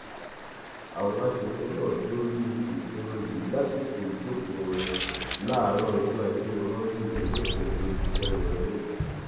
àwọn aṣòfin náà dórí ìpinnu yìí lásìkò ìjókòó wọn láàárọ ọjọ ajé monde ọjọ kẹjọ oṣù kẹrin ọdún yìí